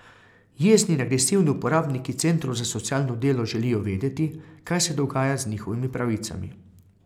Jezni in agresivni uporabniki centrov za socialno delo želijo vedeti, kaj se dogaja z njihovimi pravicami.